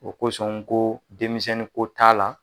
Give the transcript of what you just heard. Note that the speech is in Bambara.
O kosɔn n ko denmisɛnni ko t'a la